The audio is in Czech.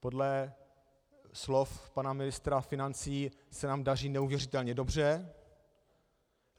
Podle slov pana ministra financí se nám daří neuvěřitelně dobře.